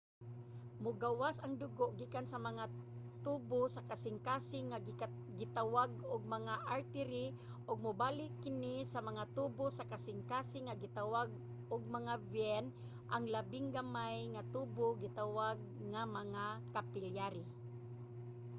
mogawas ang dugo gikan sa mga tubo sa kasingkasing nga gitawag ug mga artery ug mobalik kini sa mga tubo sa kasingkasing nga gitawag og mga vein. ang labing gamay nga tubo gitawag nga mga capillary